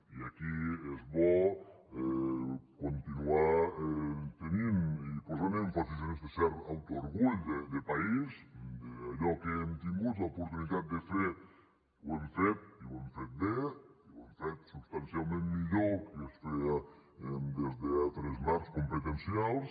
i aquí és bo continuar tenint i posant èmfasi en aquest cert autoorgull de país que allò que hem tingut l’oportunitat de fer ho hem fet i ho hem fet bé i ho hem fet substancialment millor que es feia des d’altres marcs competencials